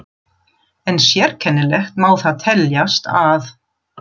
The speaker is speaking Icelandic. En sérkennilegt má það teljast að